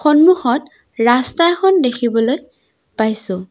সন্মুখত ৰাস্তা এখন দেখিবলৈ পাইছোঁ।